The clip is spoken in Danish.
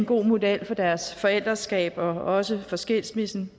god model for deres forældreskab og også for skilsmissen